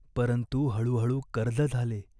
परंतु हळूहळू कर्ज झाले.